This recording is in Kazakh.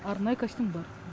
арнайы костюм бар